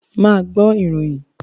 Ma gbọ́ ìròyìn